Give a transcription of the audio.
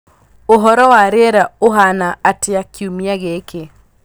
ũhoro wa rĩera rĩa ũhaana atia kiumia gĩkĩ